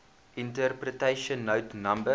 interpretation note no